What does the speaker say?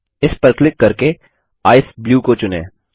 इस पर क्लिक करके ईसीई ब्लू को चुनें